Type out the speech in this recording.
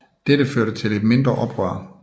Dette førte til et mindre oprør